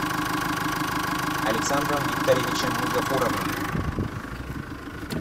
александром викторовичем гафуровым